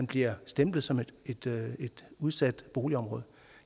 bliver stemplet som et udsat boligområde